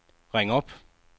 ring op